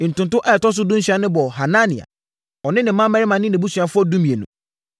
Ntonto a ɛtɔ so dunsia no bɔɔ Hanania, ɔne ne mmammarima ne nʼabusuafoɔ (12)